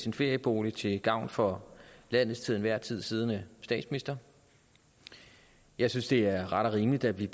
en ferieboliger til gavn for landets til enhver tid siddende statsminister jeg synes det er ret og rimeligt at vi